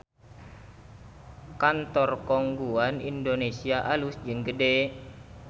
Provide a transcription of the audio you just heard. Kantor Khong Guan Indonesia alus jeung gede